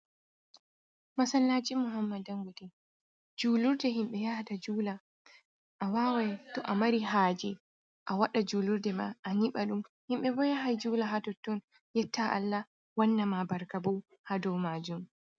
Masallaji muhammad dan gote. julurɗe himbe yahata jula. A wawai to amari haje,a waɗa julurɗe ma ayiba ɗum himɓe bo yahai jula ha totton yetta Allah wanna ma barka bo ha doe majum.